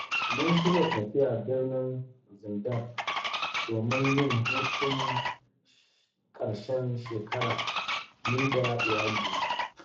Mun shirya tafiya birnin Zindar, domin yin hutun ƙarshen shekara ni da iyalina.